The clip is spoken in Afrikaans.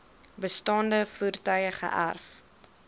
bestaande voertuie geërf